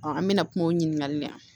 an mɛna kuma o ɲininkali la